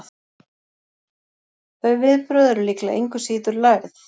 þau viðbrögð eru líklega engu síður lærð